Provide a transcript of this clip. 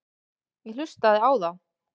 Ég hlustaði á þá.